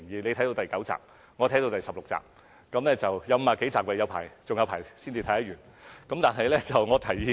她看到第九集，我看到第十六集，全劇有50多集，還有很多集才看完。